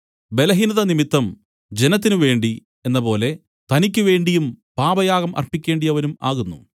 ബലഹീനതനിമിത്തം ജനത്തിന് വേണ്ടി എന്നപോലെ തനിക്കുവേണ്ടിയും പാപയാഗം അർപ്പിക്കേണ്ടിയവനും ആകുന്നു